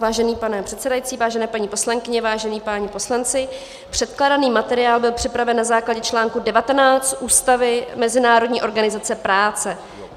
Vážený pane předsedající, vážené paní poslankyně, vážení páni poslanci, předkládaný materiál byl připraven na základě článku 19 Ústavy Mezinárodní organizace práce.